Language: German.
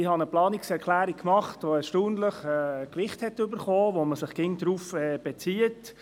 Ich habe eine Planungserklärung gemacht, der erstaunlich viel Gewicht beigemessen wird, auf die man sich auch immer wieder bezieht.